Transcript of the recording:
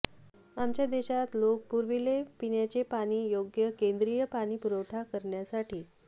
आमच्या देशात लोक पुरविले पिण्याचे पाणी योग्य केंद्रीय पाणी पुरवठा करण्यासाठी